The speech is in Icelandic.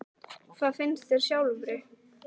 Kristján: Hvað finnst þér sjálfri?